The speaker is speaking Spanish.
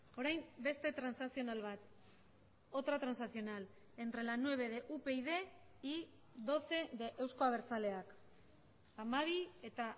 orain beste transakzional bat otra transaccional entre la nueve de upyd y doce de euzko abertzaleak hamabi eta